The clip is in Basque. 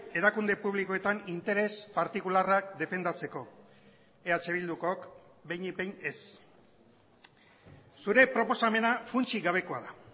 erakunde publikoetan interes partikularrak defendatzeko eh bildukok behinik behin ez zure proposamena funtsik gabekoa da